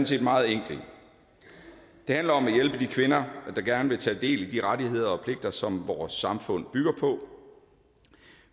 set meget enkelt det handler om at hjælpe de kvinder der gerne vil tage del i de rettigheder og pligter som vores samfund bygger på